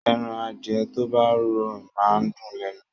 Ẹran adìẹ tó bá rọ̀ máa ń dùn lẹ́nu